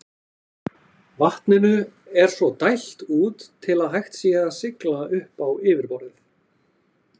Vatninu er svo dælt út til að hægt sé að sigla upp á yfirborðið.